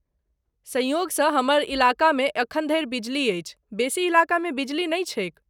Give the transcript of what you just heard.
संयोगसँ हमर इलाकामे एखन धरि बिजली अछि, बेसी इलाकामे बिजली नहि छैक।